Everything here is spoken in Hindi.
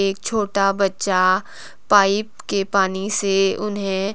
एक छोटा बच्चा पाइप के पानी से उन्हें--